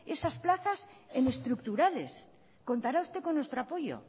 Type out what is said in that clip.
esas plazas en estructurales contará usted con nuestro apoyo